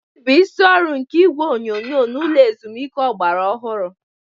Gịnị bụ isi ọrụ nke igwe onyonyo n'ụlọ ezumike ọgbara ọhụrụ?